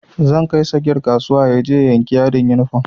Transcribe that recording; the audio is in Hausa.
Zan kai sagir kasuwa yaje ya yanki yadin yunifom